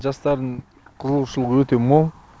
жастардың қызығушылығы өте мол